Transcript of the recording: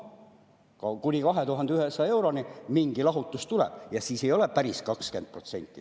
Ka kuni 2100 euroni mingi lahutus tuleb ja siis ei ole see number päris 20%.